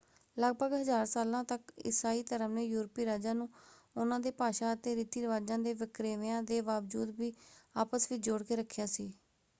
ਲਗਭਗ ਹਜ਼ਾਰ ਸਾਲਾਂ ਤੱਕ ਇਸਾਈ ਧਰਮ ਨੇ ਯੂਰਪੀ ਰਾਜਾਂ ਨੂੰ ਉਹਨਾਂ ਦੇ ਭਾਸ਼ਾ ਅਤੇ ਰਿਤੀ ਰਿਵਾਜਾਂ ਦੇ ਵਖਰੇਵਿਆਂ ਦੇ ਬਾਵਜੂਦ ਵੀ ਆਪਸ ਵਿੱਚ ਜੋੜ ਕੇ ਰੱਖਿਆ ਸੀ।